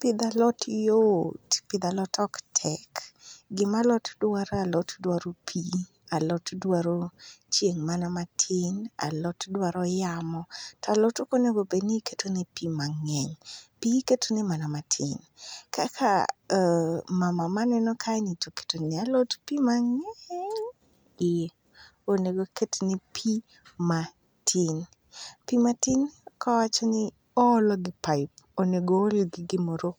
Pidho alot yot, pidho alot ok tek. Gima alot dwaro alot dwaro pi, a lot dwaro chieng' mana matin, a lot dwaro yamo, to alot ok onego bed ni iketone pi mang'eny. Pi iketone mana matin kaka mama maneno kae ni to oketo ne alot pi mang'eny. Eh onego oketne pi matin. Pi matin kawacho ni oolo gi paip. Onego ool gi gimoro